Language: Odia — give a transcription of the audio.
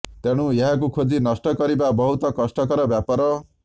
ତେଣୁ ଏହାକୁ ଖୋଜି ନଷ୍ଟ କରିବା ବହୁତ କଷ୍ଟକର ବ୍ୟାପାର